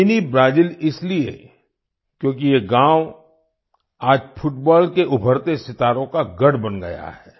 mini Brazil इसलिए क्योंकि ये गांव आज फुटबाल के उभरते सितारों का गढ़ बन गया है